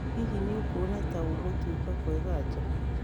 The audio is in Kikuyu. Hihi nĩ ũkuona ta gũgũtuĩka kwega nja